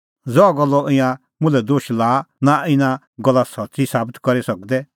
ज़हा गल्लो ईंयां मुल्है दोश लाआ नां ईंयां इना गल्ला सच्च़ी साबत करी सकदै